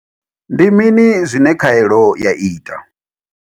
Ndi mini zwine khaelo ya ita?